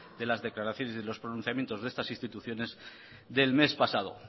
de las declaraciones y los pronunciamientos de estas instituciones del mes pasado